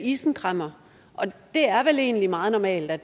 isenkræmmer og det er vel egentlig meget normalt at